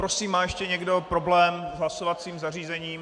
Prosím, má ještě někdo problém s hlasovacím zařízením?